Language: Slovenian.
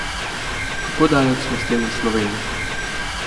Kako daleč smo s tem v Sloveniji?